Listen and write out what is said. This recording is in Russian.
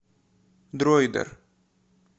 дройдер